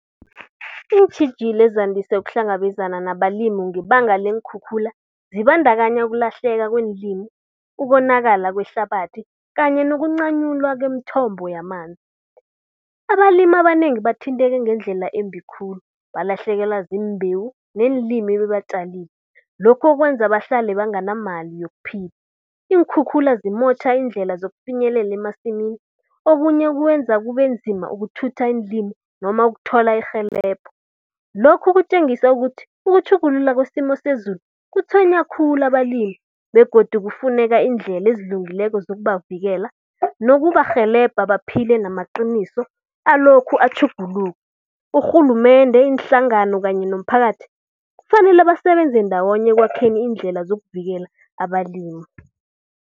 Iintjhijilo ezandise ukuhlangabezana nabalimi ngebanga leenkhukhula, zibandakanya ukulahlelaka kweenlimi ukonakala kwehlabathi kanye nokuncanyulwa kwemthombo yamanzi. Abalima banengi bathinteke ngendlela embi khulu, balahlekelwa ziimbewu neenlimi ebebazitjalile. Lokho kwenza bahlale banganamali yokuphila. Iinkhukhula zimotjha iindlela zokufinyelela emasimini, okunye kwenza kube nzima ukuthutha iinlimi noma ukuthola irhelebho. Lokhu kutjengisa ukuthi, ukutjhuguluka kwesimo sezulu kutswenya khulu abalimi. Begodu kufuneka iindlela ezilungileko zokubavikela nokubarhelebha baphile namaqiniso alokhu atjhuguluka. Urhulumende, iinhlangano kanye nomphakathi, kufanele basebenze ndawonye ekwakheni iindlela zokuzivikela abalimi.